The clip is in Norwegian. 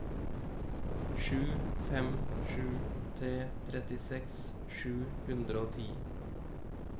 sju fem sju tre trettiseks sju hundre og ti